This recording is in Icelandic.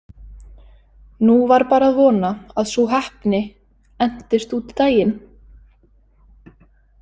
Nú var bara að vona að sú heppni entist út daginn.